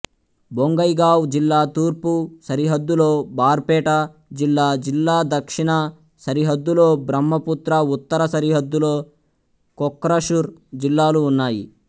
బొంగైగావ్ జిల్లా తూర్పు సరిహద్దులో బార్పేట జిల్లా జిల్లా దక్షిణ సరిహద్దులో బ్రహ్మపుత్ర ఉత్తర సరిహద్దులో కోక్రఝార్ జిల్లాలు ఉన్నాయి